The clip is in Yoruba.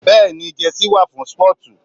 Bẹ́ẹ̀ni jẹ́sí wa fún sportu